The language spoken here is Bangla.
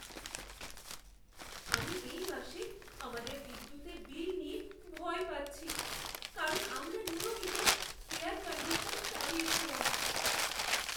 আমি এই মাসে আমাদের বিদ্যুতের বিল নিয়ে ভয় পাচ্ছি, কারণ আমরা নিয়মিত এয়ার কণ্ডিশন চালিয়েছিলাম।